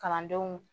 Kalandenw